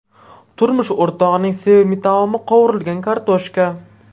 Turmush o‘rtog‘ining sevimli taomi qovurilgan kartoshka.